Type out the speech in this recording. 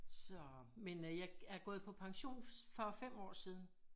Så men øh jeg er gået på pension for 5 år siden